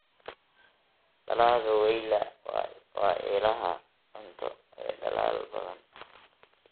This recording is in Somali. Dalagga weyla waa ilaha cunto ee dalal badan.